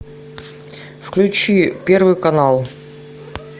включи первый канал